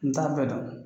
N t'a bɛɛ dɔn